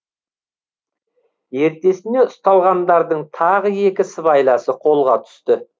ертесіне ұсталғандардың тағы екі сыбайласы қолға түсті